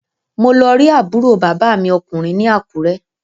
Mo lọ rí àbúrò bàbá mi ọkùnrin ní Àkúrẹ́